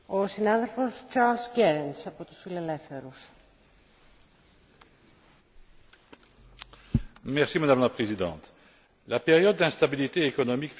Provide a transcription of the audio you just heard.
Madame la Présidente, la période d'instabilité économique, financière et sociale que nous traversons, tant en Europe que dans le reste du monde, fait apparaître des menaces sur le monde de l'information.